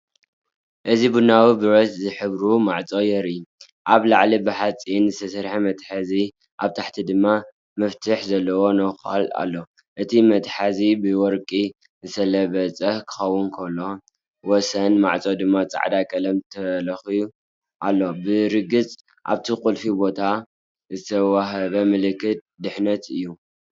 እዚ ቡናዊ ብረት ዝሕብሩ ማዕጾ የርኢ። ኣብ ላዕሊ ብሓጺን ዝተሰርሐ መትሓዚ ኣብ ታሕቲ ድማ መፍትሕ ዘለዎ ነዃል ኣሎ። እቲ መትሓዚ ብወርቂ ዝተለበጠ ክኸውን ከሎ፡ወሰን ማዕጾ ድማ ጻዕዳ ቀለም ተለኺዩ ኣሎ። ብርግጽ ኣብቲ ቁልፊ ቦታ ዝተዋህበ ምልክት ድሕነት'ዩ።